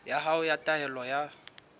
ya hao ya taelo ya